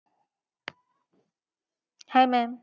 Hi maam